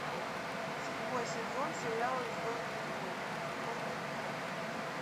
седьмой сезон сериала звездные войны войны клонов